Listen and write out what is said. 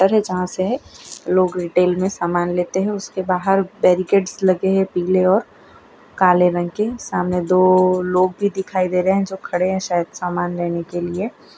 लोग रिटेल में सामान लेते हैं उसके बाहर बैरिकेट्स लगे हैं पीले और काले रंग के सामने दो लोग भी दिखाई दे रहे हैं जो खड़े हैं शायद सामान लेने के लिए।